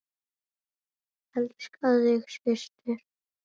Elska þig, systir.